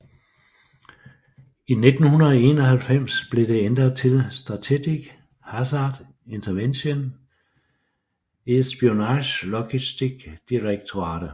I 1991 blev det ændret til Strategic Hazard Intervention Espionage Logistics Directorate